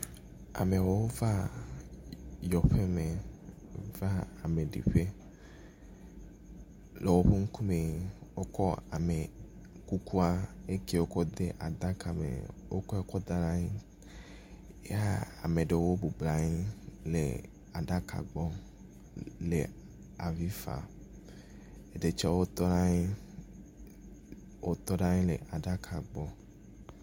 Amewo va yɔƒeme va ame ɖiƒe. Le woƒe ŋkume, wokɔ ame kukua yi ke wokɔ de aɖaka me. Wokɔe kɔ da ɖe anyi eye ame aɖewo bɔbɔ nɔ anyi le aɖaka gbɔ le le avi fam. Ɖe tsɛwo tɔ ɖe anyi, wotɔ ɖe anyi le aɖaka gbɔ.